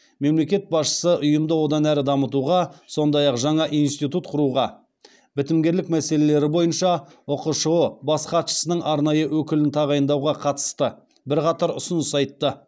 мемлекет басшысы ұйымды одан ары дамытуға сондай ақ жаңа институт құруға бітімгерлік мәселелері бойынша ұқшұ бас хатшысының арнайы өкілін тағайындауға қатысты бірқатар ұсыныс айтты